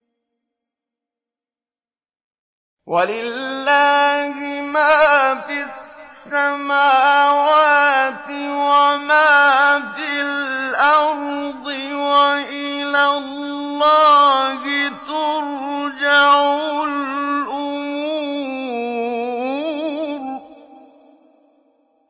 وَلِلَّهِ مَا فِي السَّمَاوَاتِ وَمَا فِي الْأَرْضِ ۚ وَإِلَى اللَّهِ تُرْجَعُ الْأُمُورُ